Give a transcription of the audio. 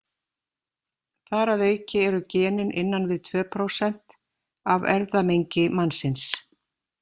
Þar að auki eru genin innan við tvö prósent af erfðamengi mannsins.